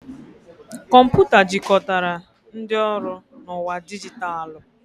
Kọmputa jikọtara ndị ọrụ na ụwa dijitalụ.